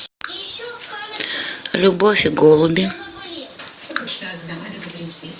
любовь и голуби